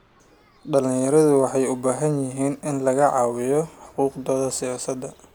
Dhalinyaradu waxay u baahan yihiin in laga wacyigeliyo xuquuqdooda siyaasadeed.